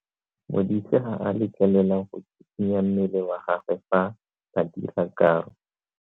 Modise ga a letlelelwa go tshikinya mmele wa gagwe fa ba dira karo.